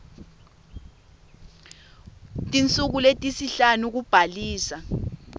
tinsuku letisihlanu kubhalisa